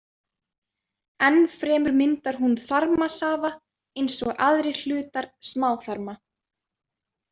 Enn fremur myndar hún þarmasafa eins og aðrir hlutar smáþarma.